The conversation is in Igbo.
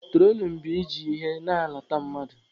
Trolin bụ i ji ihe na-alata mmadụ.